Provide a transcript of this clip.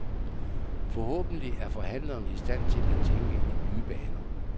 Forhåbentlig er forhandlerne i stand til at tænke i nye baner.